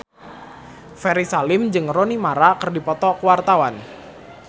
Ferry Salim jeung Rooney Mara keur dipoto ku wartawan